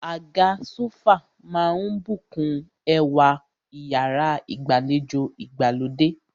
Àga sófà máà ń bùkún ẹwà iyàrá ìgbàlejò ìgbàlódé.